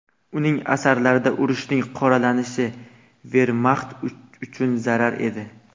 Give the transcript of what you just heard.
Uning asarlarida urushning qoralanishi Vermaxt uchun zarar edi.